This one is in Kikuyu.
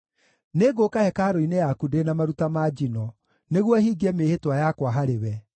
Nĩngũũka hekarũ-inĩ yaku ndĩ na maruta ma njino, nĩguo hingie mĩĩhĩtwa yakwa harĩwe,